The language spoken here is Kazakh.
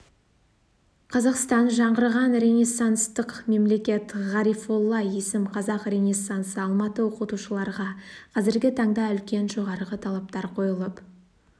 қазақстан жаңғырған ренессанстық мемлекет ғарифолла есім қазақ ренессансы алматы оқытушыларға қазіргі таңда үлкен жоғарғы талаптар қойылып